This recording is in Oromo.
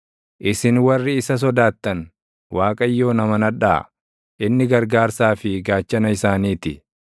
Isin warri isa sodaattan, Waaqayyoon amanadhaa; inni gargaarsaa fi gaachana isaanii ti.